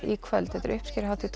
í kvöld þetta er uppskeruhátíð